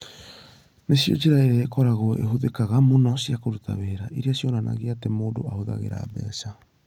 Nĩcio njĩra iria ikoragwo ihũthĩkaga mũno cia kũruta wĩra, iria cionanagia atĩ mũndũ ahũthagĩra mbeca.